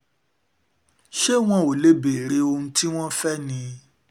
ṣé wọn ò lè béèrè ohun tí wọ́n ń fẹ́ ni